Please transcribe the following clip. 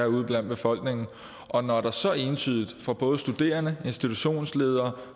ude blandt befolkningen og når det så entydigt fra både studerende institutionsledere